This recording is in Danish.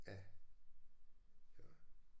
Ja så